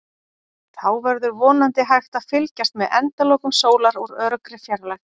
Þá verður vonandi hægt að fylgjast með endalokum sólar úr öruggri fjarlægð.